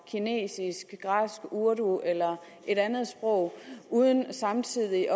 kinesisk græsk urdu eller et andet sprog uden samtidig